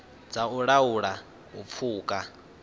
dza u laula u pfuka